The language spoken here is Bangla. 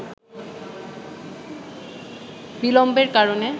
বিলম্বের কারণে